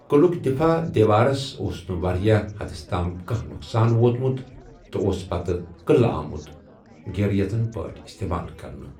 قٕلُک دِفاع دیوارَس اوس نہٕ واریٛاہ حدَس تام کانٛہہ نۄقصان وۄتمُت، تہٕ اوس پتہٕ قٕلہٕ آمُت گیریژن پٲٹھۍ اِستعمال کرنہٕ۔